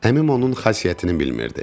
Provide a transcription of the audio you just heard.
Əmim onun xasiyyətini bilmirdi.